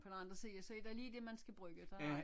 På den anden side så er der lige det man skal bruge der er